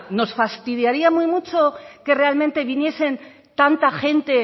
nos fastidiaría muy mucho que realmente viniese tanta gente